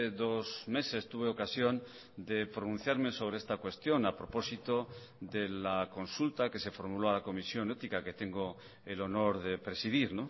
dos meses tuve ocasión de pronunciarme sobre esta cuestión a propósito de la consulta que se formuló a la comisión ética que tengo el honor de presidir